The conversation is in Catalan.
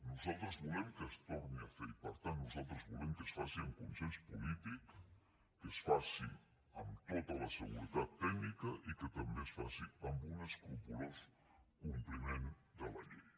nosaltres volem que es torni a fer i per tant nosaltres volem que es faci amb consens polític que es faci amb tota la seguretat tècnica i que també es faci amb un escrupolós compliment de la llei